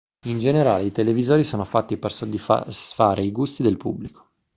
in generale i televisori sono fatti per soddisfare i gusti del pubblico